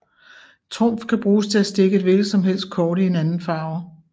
Trumf kan bruges til at stikke et hvilken som helst kort i en anden farve